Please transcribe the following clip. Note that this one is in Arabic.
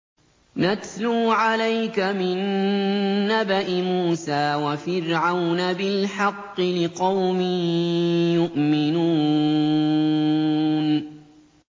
نَتْلُو عَلَيْكَ مِن نَّبَإِ مُوسَىٰ وَفِرْعَوْنَ بِالْحَقِّ لِقَوْمٍ يُؤْمِنُونَ